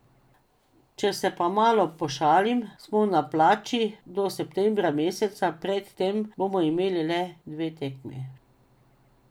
Če se pa malo pošalim, smo na plači do septembra meseca, pred tem bomo imeli le dve tekmi.